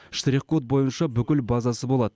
штрих код бойынша бүкіл базасы болады